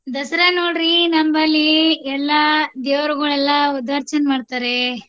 ದಸರಾ ನೋಡ್ರಿ ನಮ್ಮಲ್ಲಿ ಎಲ್ಲಾ ದೇವ್ರಗೋಳೆಲ್ಲಾ ಉದರ್ಶನ್ ಮಾಡ್ತಾರೆ.